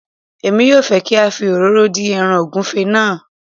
emi yóò fẹ́ kí a fi òróró dín ẹràn ògúnfe náà